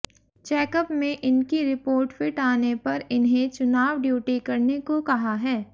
checkup में इनकी report fit आने पर इन्हें चुनाव ड्यूटी करने को कहा है